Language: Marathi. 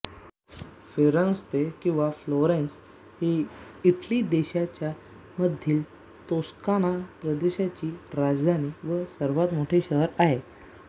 फिरेंत्से किंवा फ्लोरेन्स ही इटली देशाच्या मधील तोस्काना प्रदेशाची राजधानी व सर्वात मोठे शहर आहे